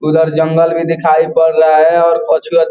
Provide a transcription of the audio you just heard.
उधर जंगल भी दिखाई पड़ रहा है और कुछ --